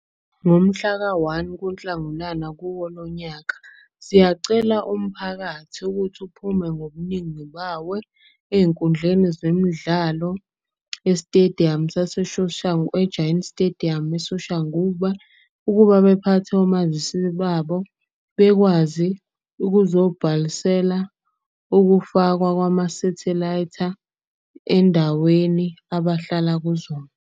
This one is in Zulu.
Ngomhlaka-one kuNhlangulana kuwo lo nyaka. Siyacela umphakathi ukuthi uphume ngobuningi bawe ey'nkundleni zemidlalo esitediyamu . E-Giant Stadium, eSoshanguve ukuba bephathe omazisi babo. Bekwazi ukuzobhalisela ukufakwa kwama-sethelaytha endaweni abahlala kuzona.